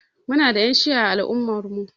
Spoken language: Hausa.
Muna da Ƴan shi'a a al'ummar mu.